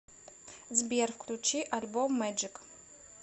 сбер включи альбом мэджик